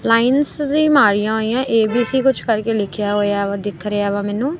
Lines ਵੀ ਮਾਰੀਆਂ ਹੋਈਆਂ ਏ_ਬੀ_ਸੀ ਕੁਝ ਕਰਕੇ ਲਿਖਿਆ ਹੋਇਆ ਵਾ ਦਿਖ ਰਿਹਾ ਵਾ ਮੈਨੂੰ।